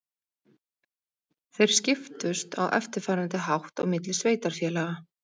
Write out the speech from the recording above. Þeir skiptust á eftirfarandi hátt á milli sveitarfélaga: